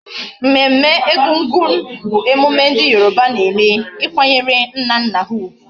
Mmemme Egungun bu emune ndi Yoruba na eme ikwanyere nna nna ha ugwu